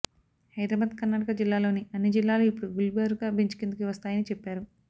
హైదరాబాద్కర్నాటక జిల్లాల్లోని అన్ని జిల్లాలు ఇపుడు గుల్బర్గ బెంచ్కిందికి వస్తున్నాయని చెప్పారు